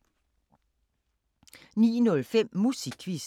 09:05: Musikquizzen